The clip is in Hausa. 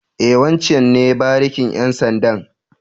E, wancen ne barikin ƴan sandan.